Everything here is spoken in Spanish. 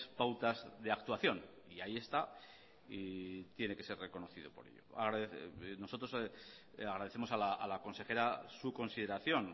pautas de actuación y ahí está y tiene que ser reconocido por ello nosotros agradecemos a la consejera su consideración